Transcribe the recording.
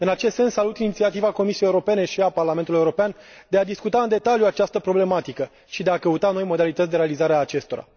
În acest sens, salut inițiativa Comisiei Europene și a Parlamentului European de a discuta în detaliu această problematică și de a căuta noi modalități de realizare a acestora.